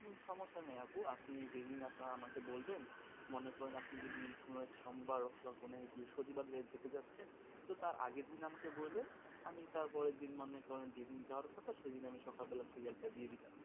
সমস্যা নাই আপু আপনি যেদিন আপনার আমাকে বলবেন মনে করুন আপনি যদি কোনো এক সোমবার হোক বা কোনো এক বৃহস্পতিবার যেতে চাচ্ছেন তো তার আগের দিন আমাকে বলবেন আমি তার পরের দিন মনে করেন যেদিন যাওয়ার কথা সেদিন আমি সকাল বেলা serial টা দিয়ে দিলাম.